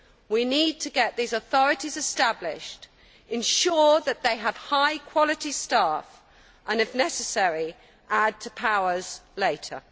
We need to get these authorities established, ensure that they have high quality staff and, if necessary, add to powers later.